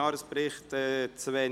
«Jahresbericht […